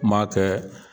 Kuma kɛ